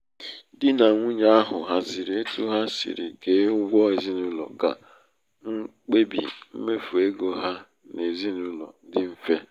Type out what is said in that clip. dị nà nwunye ahụ haziri etu ha siri kee ụgwọ n'ezinaulo ka mkpebi mmefu égo ha n'ezinaụlọ dị mfe.